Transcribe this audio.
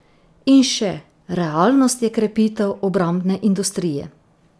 In še, realnost je krepitev obrambne industrije.